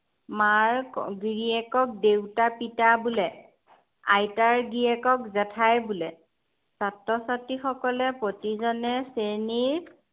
মাৰ গেৰিয়েকক দেউতা, পিতা বোলে। আইতাৰ গিৰিয়েকক জেঠাই বোলে। ছাত্ৰ-ছাত্ৰীসকলে প্ৰতিজনে শ্ৰেণীৰ